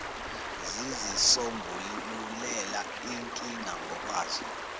zizisombululela inkinga ngokwazo